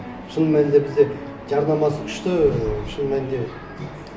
шын мәнінде бізде жарнамасы күшті шын мәнінде